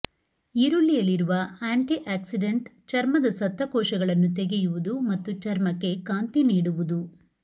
ಈರುಳ್ಳಿಯಲ್ಲಿರುವ antioxidant ಚರ್ಮದ ಸತ್ತ ಕೋಶಗಳನ್ನು ತೆಗೆಯುವುದು ಮತ್ತು ಚರ್ಮಕ್ಕೆ ಕಾಂತಿ ನೀಡುವುದು